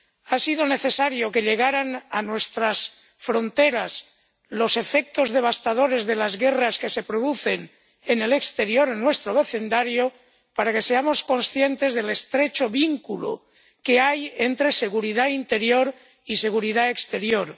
Ha sido necesario que lleguen a nuestras fronteras los efectos devastadores de las guerras que se producen en el exterior, en nuestro vecindario, para que seamos conscientes del estrecho vínculo que hay entre seguridad interior y seguridad exterior.